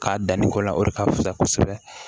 K'a danni ko la o de ka fusa kosɛbɛ